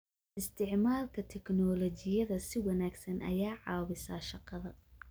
Isticmaalka tignoolajiyada si wanaagsan ayaa caawisa shaqada.